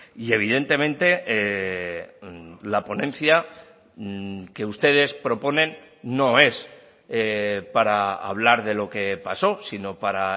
y evidentemente la ponencia que ustedes proponen no es para hablar de lo que pasó sino para